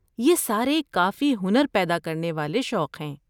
یہ سارے کافی ہنر پیدا کرنے والے شوق ہیں۔